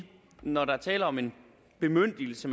når der er tale om en bemyndigelse